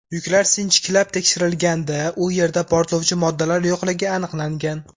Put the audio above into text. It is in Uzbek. Yuklar sinchiklab tekshirilganda u yerda portlovchi moddalar yo‘qligi aniqlangan.